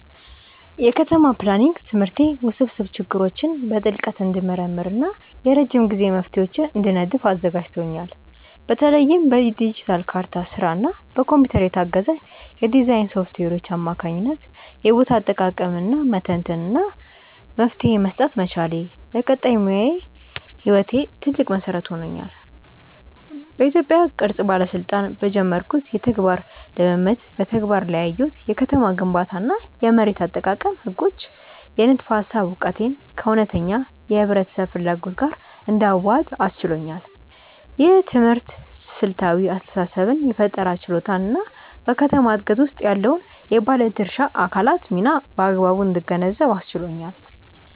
የከተማ ፕላኒንግ ትምህርቴ ውስብስብ ችግሮችን በጥልቀት እንድመረምር እና የረጅም ጊዜ መፍትሄዎችን እንድነድፍ አዘጋጅቶኛል። በተለይም በዲጂታል ካርታ ስራ እና በኮምፒውተር የታገዘ የዲዛይን ሶፍትዌሮች አማካኝነት የቦታ አጠቃቀምን መተንተን እና መፍትሄ መስጠት መቻሌ፣ ለቀጣይ ሙያዊ ህይወቴ ትልቅ መሰረት ሆኗል። በኢትዮጵያ ቅርስ ባለስልጣን በጀመርኩት የተግባር ልምምድ በተግባር ላይ ያየሁት የከተማ ግንባታ እና የመሬት አጠቃቀም ህጎች የንድፈ ሃሳብ እውቀቴን ከእውነተኛ የህብረተሰብ ፍላጎት ጋር እንዳዋህድ አስችሎኛል። ይህ ትምህርት ስልታዊ አስተሳሰብን የፈጠራ ችሎታን እና በከተማ ዕድገት ውስጥ ያለውን የባለድርሻ አካላት ሚና በአግባቡ እንድገነዘብ አስችሎኛል።